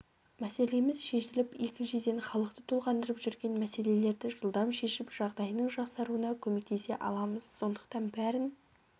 мәселеміз шешіліп екіншіден халықты толғандырып жүрген мәселелерді жылдам шешіп жағдайының жақсаруына көмектесе аламыз сондықтан бәрін